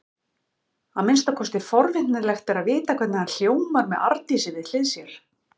Að minnsta kosti er forvitnilegt að vita hvernig hann hljómar með Arndísi við hlið sér.